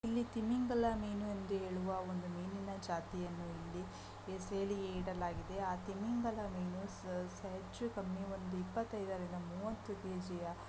ಇಲ್ಲಿ ತಿಮಿಂಗಲ ಮೀನು ಎಂದು ಹೇಳುವ ಒಂದು ಮೀನಿನ ಜಾತಿಯನ್ನು ಇಲ್ಲಿ ಹೆಸರು ಹೇಳಿ ಇಡಲಾಗಿದೆ ಆ ತಿಮಿಂಗಲ ಮೀನು ಹೆಚ್ಚು ಕಮ್ಮಿ ಒಂದು ಇಪ್ಪತೈದರಿಂದ ಮೂವತ್ತು ಕೆಜಿಯ --